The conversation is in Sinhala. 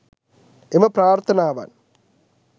එම ප්‍රාර්ථනාවන්